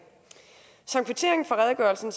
som kvittering for redegørelsen